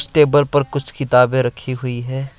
Table पर कुछ किताबें रखी हुई हैं।